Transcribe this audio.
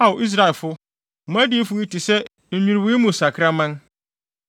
Ao Israelfo, mo adiyifo yi te sɛ nnwiriwii mu sakraman.